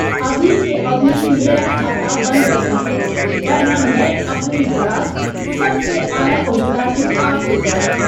ابھی کے ابھی میرا کھاتہ بند کر دیجیے، ورنہ میں اپنی بھڑاس سب سے اعلی عہدہ دار کے پاس لے جاؤں گا۔